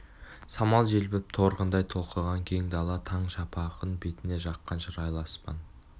самал желпіп торғындай толқыған кең дала таң шапағын бетіне жаққан шырайлы аспан